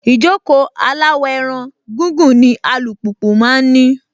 Ìjókòó aláwọ̀-ẹran gígùn ni alùpùpù máa ń ní.